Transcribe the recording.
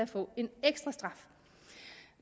få en ekstra straf